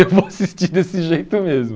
Eu vou assistir desse jeito mesmo.